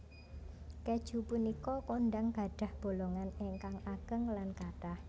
Kèju punika kondhang gadhah bolongan ingkang ageng lan kathah